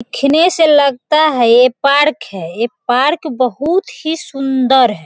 देखने से लगता है पार्क है ए पार्क बहुत सुंदर है।